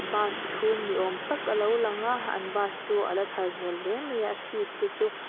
bus chhung ni awm tak a lo lang a an bus chu a la thar hmel hle mai a seat te chu --